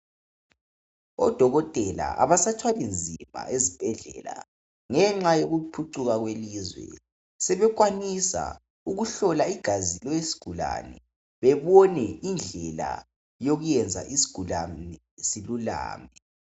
Odokotela kabasathwali nzima ezibhedlela, ngenxa yokuphucuka kwelizwe. Sebekwanisa ukuhlola igazi lesigulane. Babone indlela yokwenza isigulane silulame.